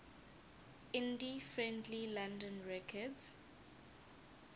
indie friendly london records